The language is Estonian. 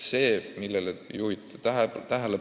Te juhtisite tähelepanu haiglate laenudele.